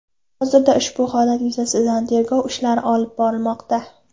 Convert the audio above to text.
Hozirda ushbu holat yuzasidan tergov ishlari olib borilmoqda.